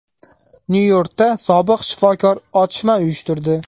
Nyu-Yorkda sobiq shifokor otishma uyushtirdi.